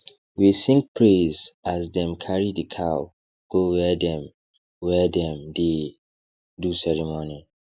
we sing praise as them carry the cow go where dem where dem dey do ceremony